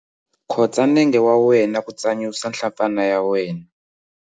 Khotsa nenge wa wena ku tsanyusa nhlampfana ya wena.